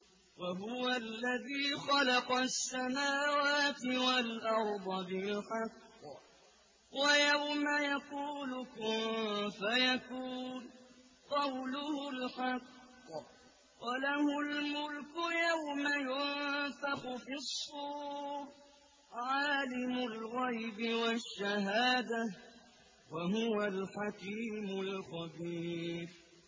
وَهُوَ الَّذِي خَلَقَ السَّمَاوَاتِ وَالْأَرْضَ بِالْحَقِّ ۖ وَيَوْمَ يَقُولُ كُن فَيَكُونُ ۚ قَوْلُهُ الْحَقُّ ۚ وَلَهُ الْمُلْكُ يَوْمَ يُنفَخُ فِي الصُّورِ ۚ عَالِمُ الْغَيْبِ وَالشَّهَادَةِ ۚ وَهُوَ الْحَكِيمُ الْخَبِيرُ